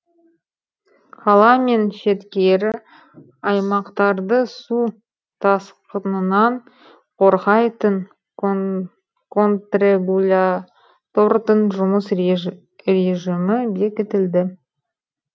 қала мен шеткері аймақтарды су тасқынынан қорғайтын контрегулятордың жұмыс режімі бекітілді